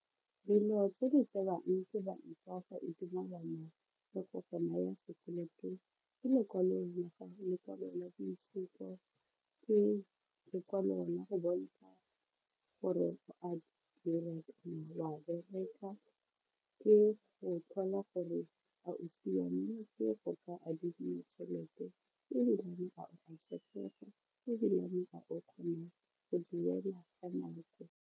Dilo tse di tsewang ke banka fa e dumalana le go go naya sekoloto ke lekwalo la boitshupo le lekwalo la go bontsha gore wa bereka ke go tlhola gore a siametse go ka adimiwa tšhelete ebilane a o a tshepega ebilane a o kgona go duela ka nako.